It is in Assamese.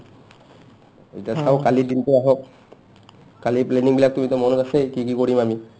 ইতা চাও কালিৰ দিনটো আহক কালিৰ planning বিলাকতো তুমিতো মনত আছেই আৰু কি কি কৰিম আমি